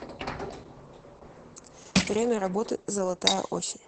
время работы золотая осень